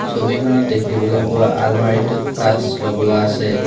ছবিখনত দেখিবলৈ পোৱা আলমাৰীটোত কাঁচ লগোৱা আছে।